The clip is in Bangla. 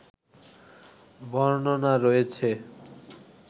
বর্ণনা রয়েছে